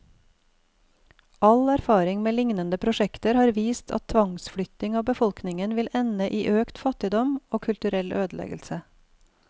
All erfaring med lignende prosjekter har vist at tvangsflytting av befolkningen vil ende i økt fattigdom, og kulturell ødeleggelse.